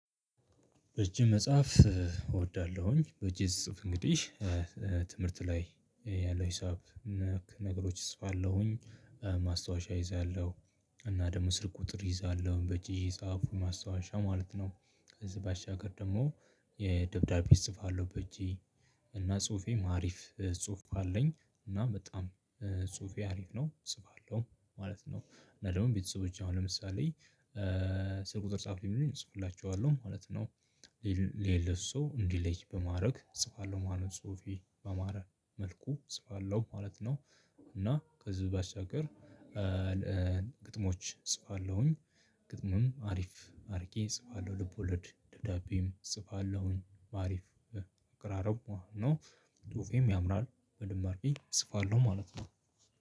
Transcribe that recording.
እጅ መጽሐፍ እወዳለሁኝ በእጄ ስጽፍ እንግዲህ ትምህርት ላይ ያለው ሂሳብ ነክ ነገሮች ጽፋለሁኝ ማስታወሻ እይዛለሁ እና ደግሞ ስልክ ቁጥር እይዛለሁ በእጄ እየጻፉ ማስታወሻ ማለት ነው። ከዚህ ባሻገር ደግሞ የደብዳቤ እጽፋለሁ በእጄ እና ጽሁፌም አሪፍ ጽሁፍ አለኝ። እና በጣም ጽሁፌ አሪፍ ነው እጽፋለሁ ማለት ነው። እና ደግሞ ቤተሰቦቼ አሁን ለምሳሌ ስልኩ ቁጥር ጻፍ ሲሉኝ እጽፋላችኋለሁ ማለት ነው። ለሌለው ሰው እንዲለይ በማድረግ እፅፋለው ማለት ጽሁፌ ባማረ መልኩ እፅፋለው ማለት ነው። እና ከዚህ በአስተያየት ግጥሞች እጽፋለሁኝ። ግጥም አሪፍ አድርጌ እጽፋለሁ ልቦለድ ደብዳቤም እጽፋለሁኝ አሪፍ ግራሮብ ነው። ፅሁፌም ያምራል በደምብ አርጌ እጽፋለሁ ማለት ነው።